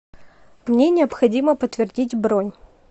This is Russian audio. мне необходимо подтвердить бронь